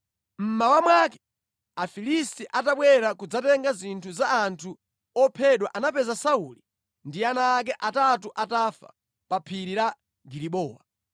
Mmawa mwake, Afilisti atabwera kudzatenga zinthu za anthu ophedwa anapeza Sauli ndi ana ake atatu atafa pa phiri la Gilibowa.